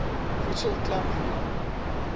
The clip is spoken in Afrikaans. voedsel klam gemaak